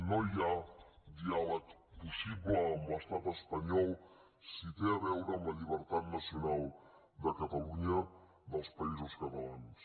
no hi ha diàleg possible amb l’estat espanyol si té a veure amb la llibertat nacional de catalunya dels països catalans